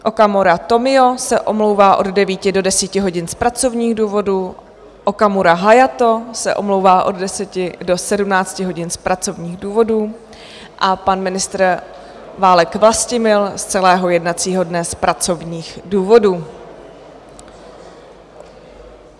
Okamura Tomio se omlouvá od 9 do 10 hodin z pracovních důvodů, Okamura Hayato se omlouvá od 10 do 17 hodin z pracovních důvodů a pan ministr Válek Vlastimil z celého jednacího dne z pracovních důvodů.